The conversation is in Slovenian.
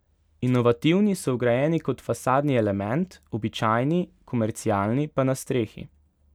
Inovativni so vgrajeni kot fasadni element, običajni, komercialni pa na strehi.